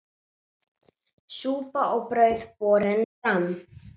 Súpa og brauð borin fram.